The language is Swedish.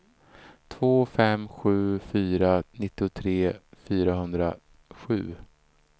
två fem sju fyra nittiotre fyrahundrasju